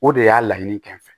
O de y'a laɲini kɛ n fɛ